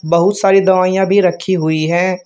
बहुत सारी दवाइयां भी रखी हुई है।